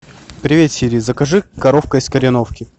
привет сири закажи коровка из кореновки